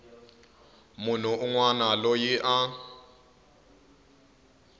munhu un wana loyi a